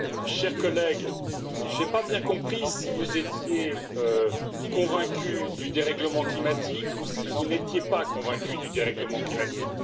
Cher collègue, je n'ai pas bien compris si vous étiez convaincu du dérèglement climatique ou si vous n'étiez pas convaincu du dérèglement climatique.